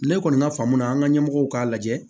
Ne kɔni ka faamu na an ka ɲɛmɔgɔw k'a lajɛ